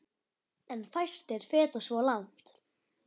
En fæstir feta svo langt.